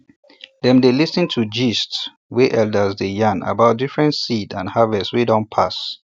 dem dey listin to gists wey elders dey yarn about different seeds and harvest wey don pass